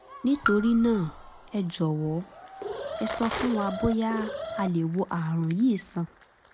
nítorí náà ẹ jọ̀wọ́ ẹ sọ fún wa bóyá a lè wo ààrùn yìí sàn